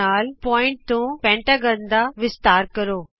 3 ਗੁਣਕ ਨਾਲ ਬਿੰਦੂ ਤੇ ਪੰਜਭੁਜ ਦਾ ਵਿਸਤਾਰ ਕਰੋ